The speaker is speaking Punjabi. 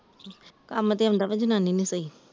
ਕੰਮ ਤੇ ਆਉਂਦਾ ਆ ਜਨਾਨੀ ਨੀ ਸਹੀ ।